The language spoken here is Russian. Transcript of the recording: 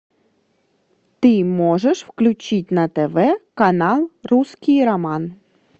ты можешь включить на тв канал русский роман